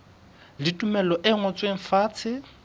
le tumello e ngotsweng fatshe